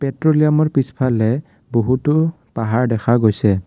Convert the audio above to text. পেট্ৰোলিয়ামৰ পিছফালে বহুতো পাহাৰ দেখা গৈছে।